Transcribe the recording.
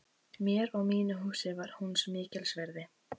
Mér og mínu húsi var hún mikils virði.